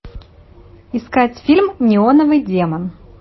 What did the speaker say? искать фильм неоновый демон